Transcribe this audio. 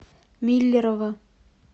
миллерово